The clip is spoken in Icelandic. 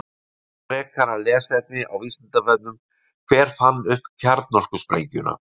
Frekara lesefni á Vísindavefnum: Hver fann upp kjarnorkusprengjuna?